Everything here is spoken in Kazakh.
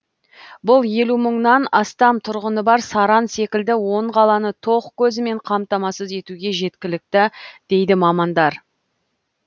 бұл елу мыңнан астам тұрғыны бар саран секілді он қаланы тоқ көзімен қамтамасыз етуге жеткілікті дейді мамандар